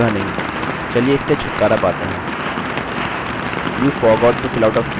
you forgot to fill out a fieldआप field को भरना भूल गए हैं